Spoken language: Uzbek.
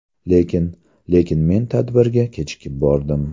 Lekin… Lekin men tadbirga kechikib bordim.